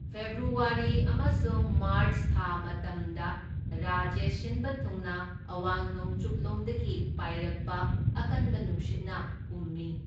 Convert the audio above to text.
February ꯑꯃꯁꯨꯡ March ꯊꯥ ꯃꯇꯝꯗ ꯔꯥꯖ꯭ꯌ ꯁꯤꯟꯕ ꯊꯨꯡꯅ ꯑꯋꯥꯡ ꯅꯣꯡꯆꯨꯞꯂꯣꯝꯗꯒꯤ ꯄꯥꯏꯔꯛꯄ ꯑꯀꯟꯕ ꯅꯨꯡꯁꯤꯠꯅ ꯍꯨꯝꯃꯤ꯫